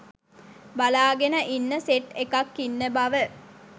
බලාගෙන ඉන්න සෙට් එකක් ඉන්න බව